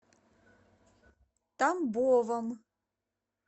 тамбовом